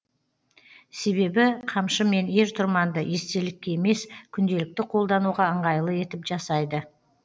себебі қамшы мен ер тұрманды естелікке емес күнделікті қолдануға ыңғайлы етіп жасайды